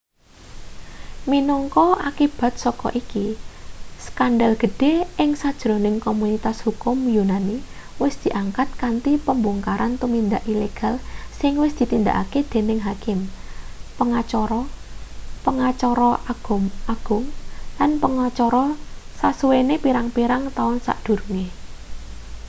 minangka akibat saka iki skandal gedhe ing sajroning komunitas hukum yunani wis diangkat kanthi pembongkaran tumindak ilegal sing wis ditindakake dening hakim pengacara pengacara agung lan pengacara sasuwene pirang-pirang taun sadurunge